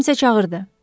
Kimsə çağırdı.